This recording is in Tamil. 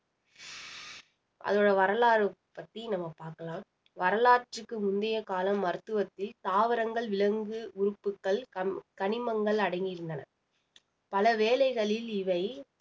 அதோட வரலாறு பத்தி நம்ம பாக்கலாம் வரலாற்றுக்கு முந்திய காலம் மருத்துவத்தில் தாவரங்கள் விலங்கு உறுப்புகள் க~ கணிமங்கள் அடங்கியிருந்தன பல வேலைகளில் இவை